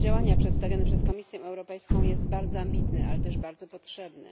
Plan działania przedstawiony przez Komisję Europejską jest bardzo ambitny, ale też bardzo potrzebny.